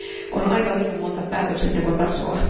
On aivan liian monta päätöksentekotasoa.